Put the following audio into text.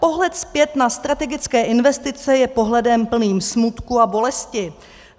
Pohled zpět na strategické investice je pohledem plným smutku a bolesti.